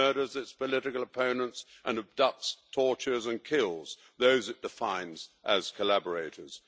It murders its political opponents and abducts, tortures and kills those it defines as collaborators.